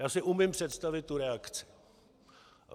Já si umím představit tu reakci.